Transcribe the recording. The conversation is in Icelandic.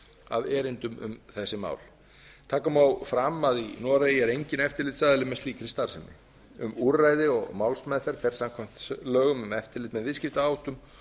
af erindum um þessi mál taka má fram að í noregi er enginn eftirlitsaðili er með slíkri starfsemi um úrræði og málsmeðferð fer samkvæmt lögum um eftirlit með viðskiptaháttum